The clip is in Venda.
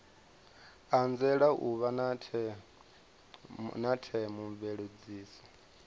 anzela u vha na theomveledziso